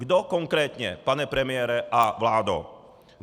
Kdo konkrétně, pane premiére a vládo?